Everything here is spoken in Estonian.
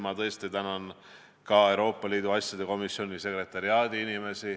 Ma tänan ka Euroopa Liidu asjade komisjoni sekretariaadi inimesi.